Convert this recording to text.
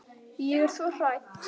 Ég er svo hrædd.